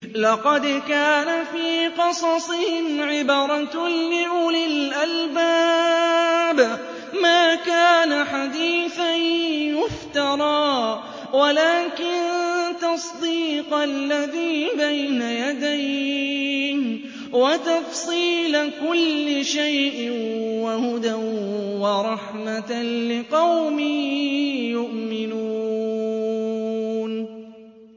لَقَدْ كَانَ فِي قَصَصِهِمْ عِبْرَةٌ لِّأُولِي الْأَلْبَابِ ۗ مَا كَانَ حَدِيثًا يُفْتَرَىٰ وَلَٰكِن تَصْدِيقَ الَّذِي بَيْنَ يَدَيْهِ وَتَفْصِيلَ كُلِّ شَيْءٍ وَهُدًى وَرَحْمَةً لِّقَوْمٍ يُؤْمِنُونَ